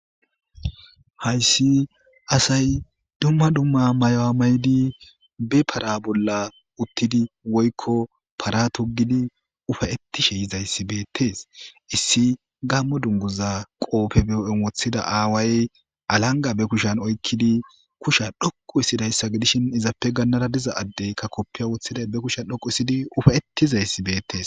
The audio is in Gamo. Hayssi asay dumma dumma mayowa maydi be para bolla uttidi woykko para tugidi ufayettishe yizayssi beettes issi gammo dunguza qoopfe beo7en woththida aaway alanga be kushan oykkidi kusha dhoqu issidayssa gidishin izappe gannada diza addeykka koppiya woththida be kusha dhoqu isidi ufayettizayssi beettees.